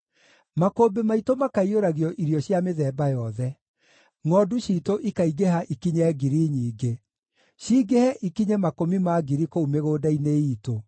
Makũmbĩ maitũ makaiyũragio irio cia mĩthemba yothe. Ngʼondu ciitũ ikaingĩha ikinye ngiri nyingĩ, cingĩhe ikinye makũmi ma ngiri kũu mĩgũnda-inĩ iitũ;